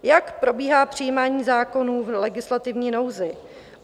Jak probíhá přijímání zákonů v legislativní nouzi?